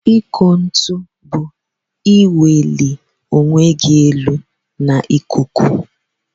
Ikụ ntu bu iwụli onwegi elu na ikuku.